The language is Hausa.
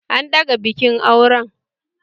An daga bikin auren